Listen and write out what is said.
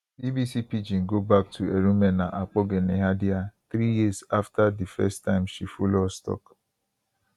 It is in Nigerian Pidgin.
bbc pidgin go back to erumena akpogheneadaiah three years afta difirst time she follow us tok